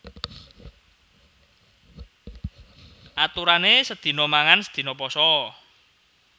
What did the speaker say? Aturanè sedina mangan sedina pasa